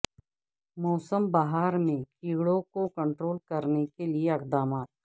موسم بہار میں کیڑوں کو کنٹرول کرنے کے اقدامات